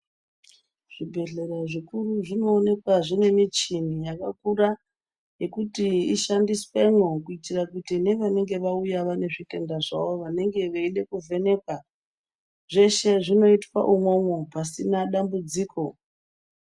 Zvibhedhlera zvikuru zvinoonekwa zvine michini yakakura yekuti ishandiswemo kuitira nevanenge vauya vane zvitenda zvavo vanenge veide kuvhenekwa, zveshe zvinoitwa imomo pasina dambudziko.